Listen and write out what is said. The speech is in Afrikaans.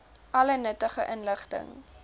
alle nuttige inligting